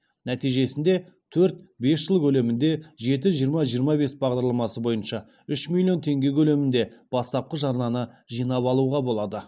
нәтижесінде төрт бес жыл көлемінде жеті жиырма жиырма бес бағдарламасы бойынша үш миллион теңге көлемінде бастапқы жарнаны жинап алуға болады